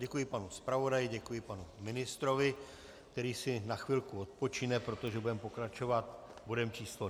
Děkuji panu zpravodaji, děkuji panu ministrovi, který si na chvilku odpočine, protože budeme pokračovat bodem číslo